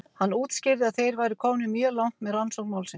Hann útskýrði að þeir væru komnir mjög langt með rannsókn málsins.